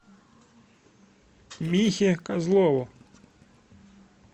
михе козлову